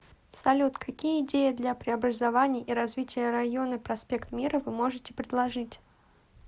салют какие идеи для преобразования и развития района проспект мира вы можете предложить